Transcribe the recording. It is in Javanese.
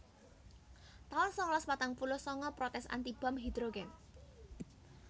taun sangalas patang puluh sanga Protes anti bom hidhrogèn